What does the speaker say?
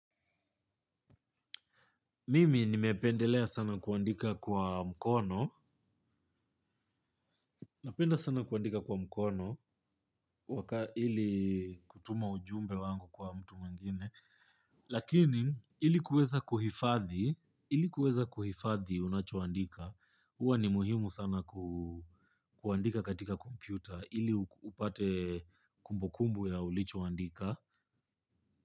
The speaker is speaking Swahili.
Mimi nimependelea sana kuandika kwa mkono, napenda sana kuandika kwa mkono, waka ili kutuma ujumbe wangu kwa mtu mwingine, lakini ili kuweza kuhifadhi, ili kuweza kuhifadhi unachoandika, huwa ni muhimu sana kuandika katika kompyuta, ili upate kumbukumbu ya ulichoandika.